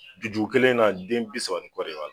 Juju kelen na den bisa nin kɔ de b'a la.